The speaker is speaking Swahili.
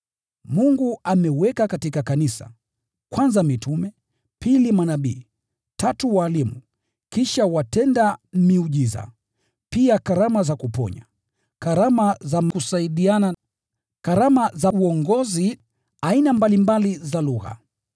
Mungu ameweka katika kanisa, kwanza mitume, pili manabii, tatu walimu, kisha watenda miujiza, pia karama za kuponya, karama za kusaidiana, karama za uongozi, aina mbalimbali za lugha.